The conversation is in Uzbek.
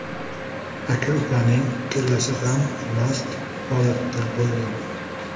Aka-ukaning ikkalasi ham mast holatda bo‘lgan.